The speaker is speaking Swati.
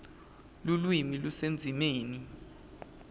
lulwimi lusendzimeni